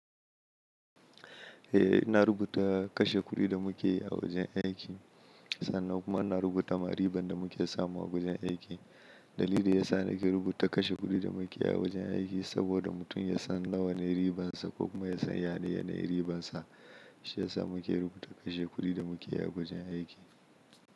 Eh, ina rubuta kashe kuɗi da muke yi a wajen aiki sannan kuma ina rubuta ma riban da muke samu a wajen aiki. Dalili da ya sa nake rubuta kashe kuɗi da muke yi a wajen aiki saboda mutum ya san nawa ne ribansa ko kuma ya san yadda yana yi ribansa. Shi ya sa muke rubuta kashe kuɗi da muke yi a wajen aiki.